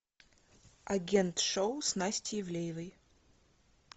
агент шоу с настей ивлеевой